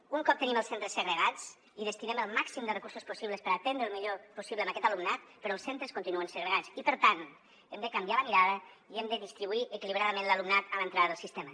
un cop tenim els centres segregats hi destinem el màxim de recursos possibles per atendre el millor possible a aquest alumnat però els centres continuen segregats i per tant hem de canviar la mirada i hem de distribuir equilibradament l’alumnat a l’entrada del sistema